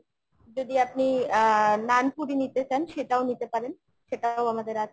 যদি আপনি আহ নানপুরি নিতে চান সেটাও নিতে পারেন। সেটাও আমাদের আছে।